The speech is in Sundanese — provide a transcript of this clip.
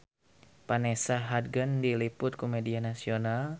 Vanessa Hudgens diliput ku media nasional